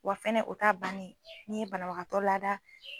Wa fɛnɛ o t'a bannen ye, n'i ye banabagatɔ laada